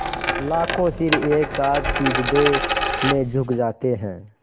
लाखों सिर एक साथ सिजदे में झुक जाते हैं